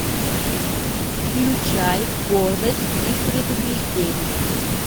включай гордость и предубеждение